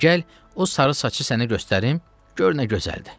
De gəl o sarı saçı sənə göstərim, gör nə gözəldir.